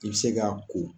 I bɛ se k'a ko